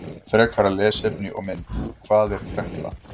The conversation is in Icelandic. Frekara lesefni og mynd: Hvað er kreppa?